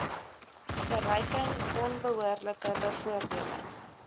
verryking onbehoorlike bevoordeling